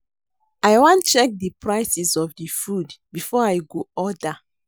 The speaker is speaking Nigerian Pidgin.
I wan check di prices of di food before I go order.